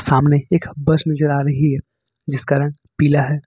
सामने एक बस नजर आ रही है जिस रंग पीला है।